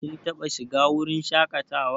Kin taɓa shiga wurin shaƙatawa?